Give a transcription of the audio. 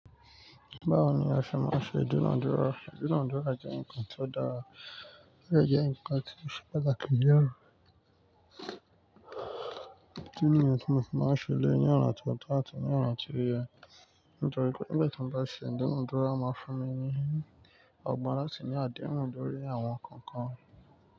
Báwo ni o ṣe máa n ṣe ídúnàdúrà? Ídúnàdúrà jẹ́ ǹkan tió dára, ó dẹ jẹ́ ǹkan tí ó ṣe pàtàkì jùlọ idi nìyen ti mọ̀ fi máa ń ṣe elẹ́yiì ni ọ̀nà ti ó to àtì ní ọ̀nà ti o ye. Nítorí pé nígbà tí mo bá ṣe ìdúnàádúrà, máa fún mi ní agbára láti ní àdìmọ́lẹ̀ lórí àwọn nǹkan kan.